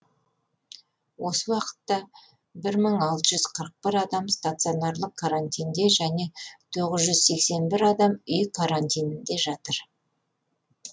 осы уақытта бір мың алты жүз қырық бір адам стационарлық карантинде және тоғыз жүз сексен бір адам үй карантинінде жатыр